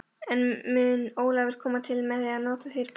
En mun Ólafur koma til með að nýta sér borðið?